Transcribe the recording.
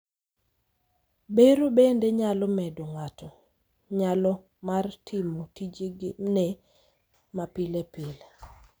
Bero bende nyalo medo ng'ato nyalo mar timo tijene ma pile pile.